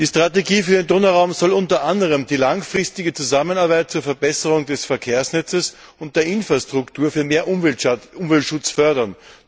Die Strategie für den Donauraum soll unter anderem die langfristige Zusammenarbeit zur Verbesserung des Verkehrsnetzes und der Infrastruktur für mehr Umweltschutz fördern.